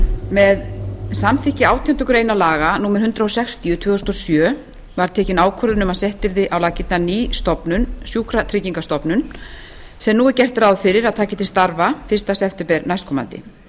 með samþykkt átjándu grein laga númer hundrað sextíu tvö þúsund og sjö var tekin ákvörðun um að sett yrði á laggirnar ný stofnun sjúkratryggingastofnun sem nú er gert er ráð fyrir að taki til starfa fyrsta september næstkomandi